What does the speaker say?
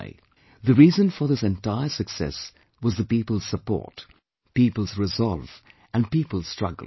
" The reason for this entire success was the people's support, people's resolve, and people's struggle